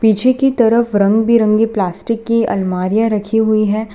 पीछे की तरफ रंग बिरंगी प्लास्टिक की अल्मारिया रखी हुई है।